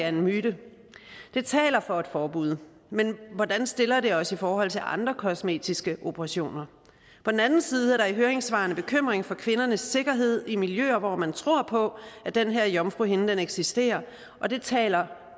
en myte det taler for et forbud men hvordan stiller det os i forhold til andre kosmetiske operationer på den anden side er der i høringssvarene bekymring for kvindernes sikkerhed i miljøer hvor man tror på at den her jomfruhinde eksisterer og det taler